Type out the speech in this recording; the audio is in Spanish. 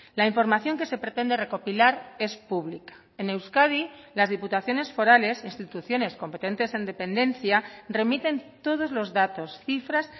la información que se pretende recopilar es pública en euskadi las diputaciones forales instituciones competentes en dependencia remiten todos los datos cifras